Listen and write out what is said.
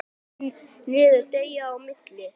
Þrýstu niður deigið á milli.